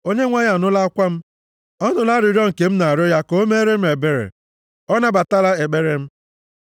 Onyenwe anyị anụla akwa m; ọ nụla arịrịọ nke m na-arịọ ya ka o meere m ebere. Ọ nabatala ekpere m.